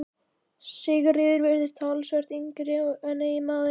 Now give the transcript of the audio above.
Sigríður virtist talsvert yngri en eiginmaðurinn.